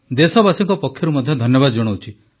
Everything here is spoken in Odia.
ଦେଶବାସୀଙ୍କ ପକ୍ଷରୁ ମଧ୍ୟ ଧନ୍ୟବାଦ ଜଣାଉଛି